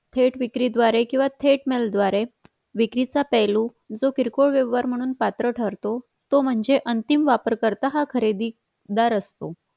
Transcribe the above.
थेट विक्री द्वारे किंवा थेट news द्वारे विक्रीचा पेहेलू जो किरकोळ पेहेलू म्हणून पात्र ठरतो मध्ये तो म्हणजे अंतिम वापरकरता हा खरीददार असतो